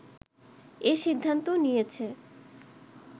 এ সিদ্ধান্ত নিয়েছে